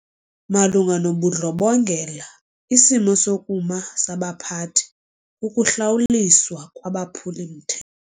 Malunga nobundlobongela isimo sokuma sabaphathi kukuhlawuliswa kwabaphuli-mthe.